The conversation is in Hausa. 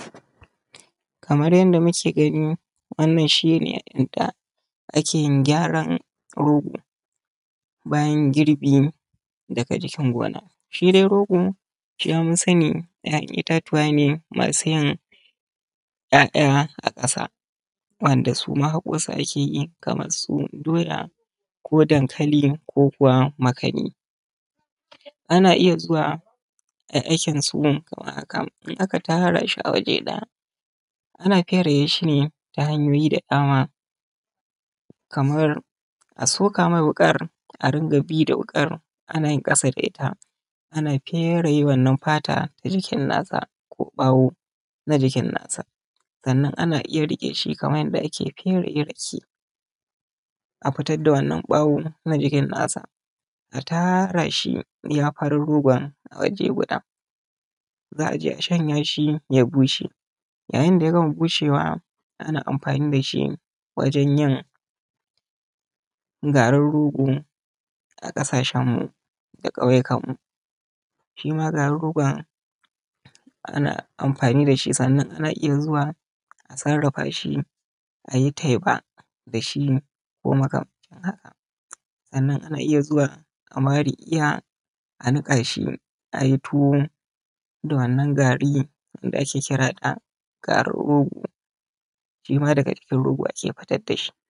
Kamar yanda muke gani wannan shi ne yanda ake yin gyaran rogo bayan girbi daga cikin gona. Shi dai rogo mun sani ‘ya’yan itatuwa ne masu yin ‘ya’ya a ƙasa wanda su ma haƙo su ake yi kamansu doya, su dankali ko kuwa makani. Ana iya zuwa ayi aikinsu a kan, in aka tara shi a waje ɗaya ana fere shi ne ta hanyoyi da dama kamar a soka mai wuƙar a dinga bi da wuƙar ana ƙasa da ita ana fere wannan fata na jikin nata ko ɓawo na jikin nata. Sannan ana iya riƙe shi kamar yanda ake fere rake a fitar da wannan ɓawo na jikin nasa, a tara shi iya farin rogon a waje guda. Za a je a shanya shi ya bushe, ya yin da gama bushewa ana amfani da shi wajen yin garin rogo a ƙasashenmu da ƙauyukanmu. Shima garin rogon ana amfani da shi sannan a iya zuwa a sarrafa shi a yi teba da shi ko makamancin haka. Sannan ana iya zuwa a mar iya a niƙa shi a yi tuwo da wannan gari wanda ake kira da garin rogo, shima daga jikin rogo ake fitad da shi.